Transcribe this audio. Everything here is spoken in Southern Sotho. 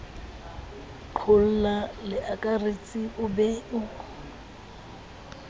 qolla leakaretsi o be o